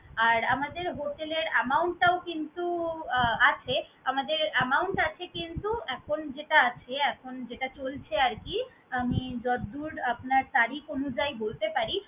আর আমাদের hotel এর amount টাও কিন্তু আহ আছে আমাদের amount আছে কিন্তু এখন যেটা আছে, এখন যেটা চলছে আর কি, আমি যতদূর আপনার তারিখ অনুযায়ী বলতে পারি